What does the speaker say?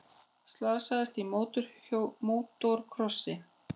Slasaðist í mótorkrossi